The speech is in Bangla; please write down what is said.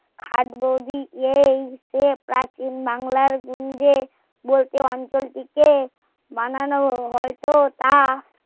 হাক যদি এই সে প্রাচীন বাংলার নিজে বলতে অঞ্চল টি কে বানানো হয়তো তা